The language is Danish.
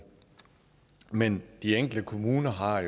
men de enkelte kommuner har